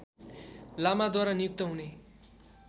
लामाद्वारा नियुक्त हुने